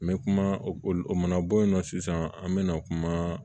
N bɛ kuma o mana bɔ yen nɔ sisan an bɛ na kuma